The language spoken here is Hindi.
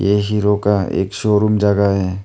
ये हीरो का एक शोरूम जगह है।